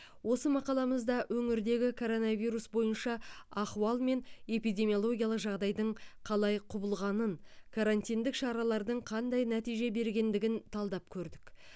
осы мақаламызда өңірдегі коронавирус бойынша ахуал мен эпидемиялогиялық жағдайдың қалай құбылғанын карантиндік шаралардың қандай нәтиже бергендігін талдап көрдік